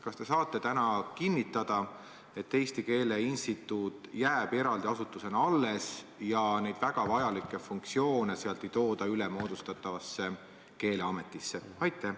Kas te saate täna kinnitada, et Eesti Keele Instituut jääb eraldi asutusena alles ja nende väga vajalikke funktsioone ei anta üle moodustatavale keeleametile?